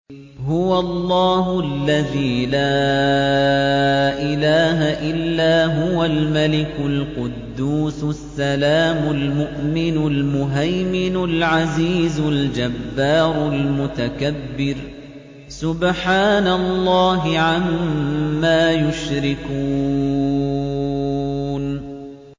هُوَ اللَّهُ الَّذِي لَا إِلَٰهَ إِلَّا هُوَ الْمَلِكُ الْقُدُّوسُ السَّلَامُ الْمُؤْمِنُ الْمُهَيْمِنُ الْعَزِيزُ الْجَبَّارُ الْمُتَكَبِّرُ ۚ سُبْحَانَ اللَّهِ عَمَّا يُشْرِكُونَ